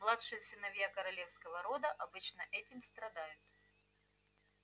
младшие сыновья королевского рода обычно этим страдают